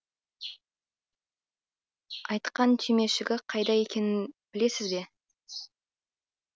айтқан түймешігі қайда екенін білесіз бе